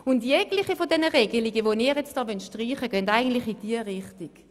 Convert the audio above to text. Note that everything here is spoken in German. Alle Regelungen, die Sie jetzt streichen wollen, gehen in diese Richtung.